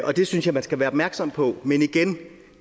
og det synes jeg man skal være opmærksom på men igen